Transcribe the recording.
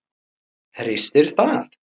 Hristir það.